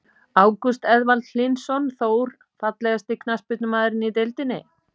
Ágúst Eðvald Hlynsson, Þór.Fallegasti knattspyrnumaðurinn í deildinni?